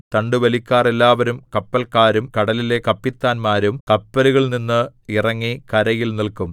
തണ്ടുവലിക്കാർ എല്ലാവരും കപ്പല്ക്കാരും കടലിലെ കപ്പിത്താന്മാരും കപ്പലുകളിൽനിന്ന് ഇറങ്ങി കരയിൽ നില്ക്കും